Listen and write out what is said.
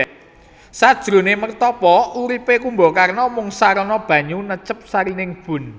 Sajroné mertapa uripé Kumbakarna mung sarana banyu necep sarining bun